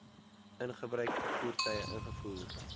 gebruikte voertuie ingevoer